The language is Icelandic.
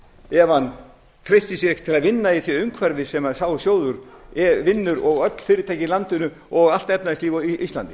ef hann treystir sér ekki til að vinna í því umhverfi sem sá sjóður vinnur og öll fyrirtæki í landinu og allt efnahagslíf á íslandi